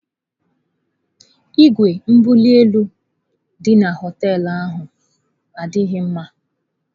Igwe mbuli elu dị na họteelu ahụ adịghị mma.